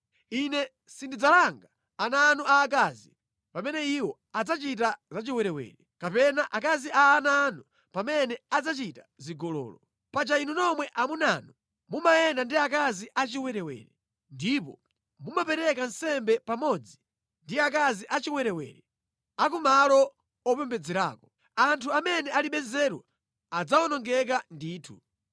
“Ine sindidzalanga ana anu aakazi pamene iwo adzachita zachiwerewere, kapena akazi a ana anu pamene adzachita zigololo. Paja inu nomwe amunanu mumayenda ndi akazi achiwerewere, ndipo mumapereka nsembe pamodzi ndi akazi achiwerewere a ku malo opembedzerako. Anthu amene alibe nzeru adzawonongeka ndithu!